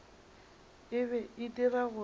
e be e dira gore